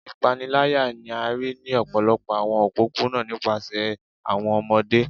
Ipanilaya ni a rii ni ọpọlọpọ awọn opopona nipasẹ awọn ọmọde